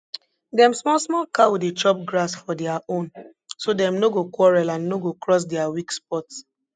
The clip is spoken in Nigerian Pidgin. dem small small cow dey chop grass for dia own so dem no go quarrel and no go cross dia weak spot